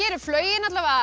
er flaugin